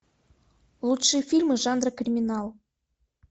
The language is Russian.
лучшие фильмы жанра криминал